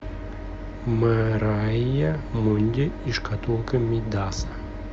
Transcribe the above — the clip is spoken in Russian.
мэрайа мунди и шкатулка мидаса